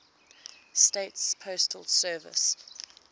states postal service